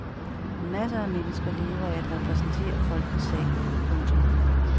Masser af mennesker lever af at repræsentere folkets sag. punktum